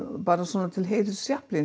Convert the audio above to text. bara svona til heiðurs